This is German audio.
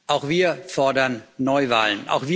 Auch wir fordern Neuwahlen.